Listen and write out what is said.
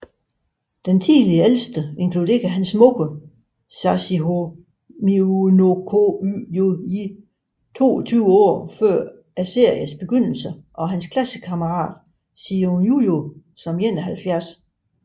Tidligere Ældste inkluderer hans mor Sachiho Miyanokouji 22 år før seriens begyndelse og hans klassekammerat Sion Jujo som 71